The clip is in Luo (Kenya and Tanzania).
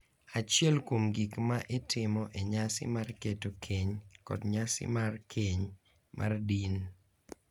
achiel kuom gik ma itimo e nyasi mar keto keny kod nyasi mar keny mar din.